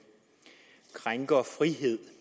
krænker frihed